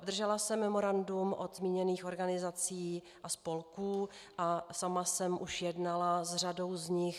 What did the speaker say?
Obdržela jsem memorandum od zmíněných organizací a spolků a sama jsem už jednala s řadou z nich.